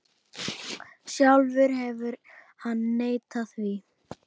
Sjálfur hefur hann neitað því.